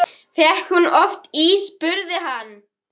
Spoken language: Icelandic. En þar eð sókn er besta vörnin, sagði hann hneykslaður